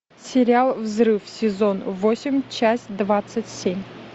сериал взрыв сезон восемь часть двадцать семь